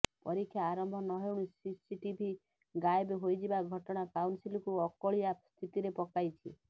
ପରୀକ୍ଷା ଆରମ୍ଭ ନହେଉଣୁ ସିସିଟିଭି ଗାଏବ୍ ହୋଇଯିବା ଘଟଣା କାଉନସିଲକୁ ଅକଳିଆ ସ୍ଥିତିରେ ପକାଇଛି